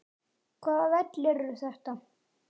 Hvaða vellir eru þetta?